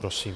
Prosím.